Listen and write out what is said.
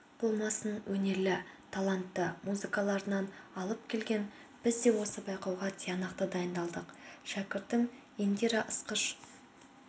болмасын өнерлі талантты музыканттарын алып келген біз де осы байқауға тиянақты дайындалдық шәкіртім индира ысқыш